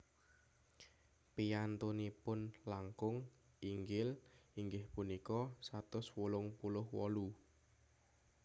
Piyantunipun langkung inggil inggih punika satus wolung puluh wolu